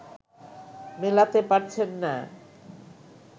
মেলাতে পারছেন না